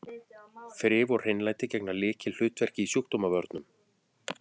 Þrif og hreinlæti gegna lykilhlutverki í sjúkdómavörnum.